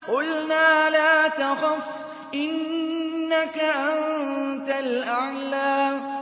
قُلْنَا لَا تَخَفْ إِنَّكَ أَنتَ الْأَعْلَىٰ